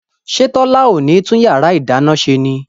ṣé Tọ́lá ò ní tún yàrá ìdáná ṣe ni?